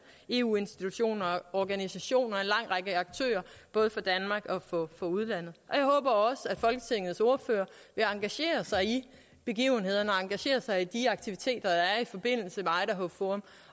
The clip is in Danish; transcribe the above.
eu institutioner og organisationer og en lang række aktører både fra danmark og fra udlandet jeg håber også at folketingets ordførere vil engagere sig i begivenhederne og engagere sig i de aktiviteter der er i forbindelse med idaho forum